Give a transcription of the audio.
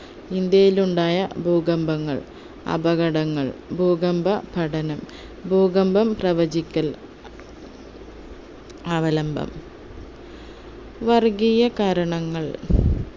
ഇന്ത്യയിൽ ഉണ്ടായ ഭൂകമ്പങ്ങൾ അപകടങ്ങൾ ഭൂകമ്പഘടനം ഭൂകമ്പം പ്രവചിക്കൽ അവലംബം വർഗീയ കാരണങ്ങൾ